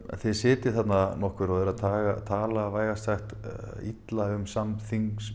þið sitjið þarna nokkur og eruð að tala vægast sagt illa um samþingmenn